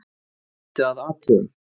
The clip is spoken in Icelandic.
Það þyrfti að athuga????